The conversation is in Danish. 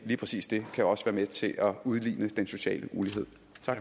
lige præcis det kan også være med til at udligne den sociale ulighed